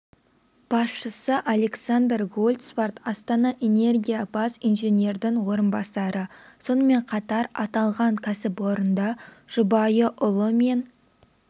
басшысы александр гольцварт астана энергия бас инженердің орынбасары сонымен қатар аталған кәсіпорында жұбайы ұлы мен